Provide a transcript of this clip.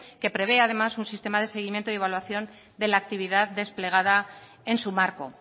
que prevé además un sistema de seguimiento y evaluación de la actividad desplegada en su marco